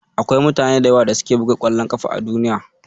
Akwai mutane da yawa da suke buga ƙwallon ƙafa a Duniya.